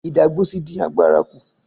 Ìdágbósí dín àgbàrá kú.